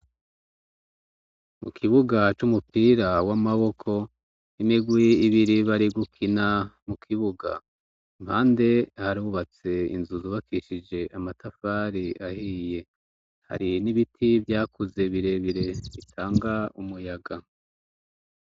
Mu kibuga c'umupira w'amaboko 'imigwi ibiri bari gukina mu kibuga mpande harubatse inzuzubakishije amatafari ahiye hari n'ibiti vyakuze birebire itanga umuyaga.